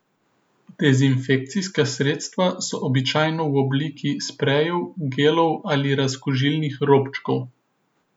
Dezinfekcijska sredstva so običajno v obliki sprejev, gelov ali razkužilnih robčkov.